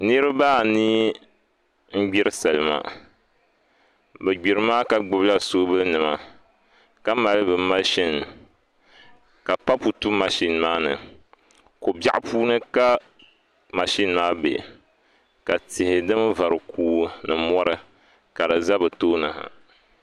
Nirabaa anii n gbiri salima bi gbiri maa ka gbubila soobuli nima ka mali bi mashin ka papu tu mashin maa ni ko biɛɣu puuni ka mashin maa bɛ ka tihi din vari kuui ni mori ka di ʒɛ bi tooni ha